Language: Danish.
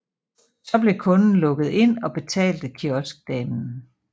Så blev kunden lukket ind og betalte kioskdamen